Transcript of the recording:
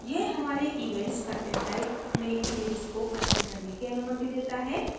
यह हमारे events content type में images को अलाइन करने की अनुमति देता है